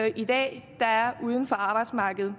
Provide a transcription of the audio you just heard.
i dag der er uden for arbejdsmarkedet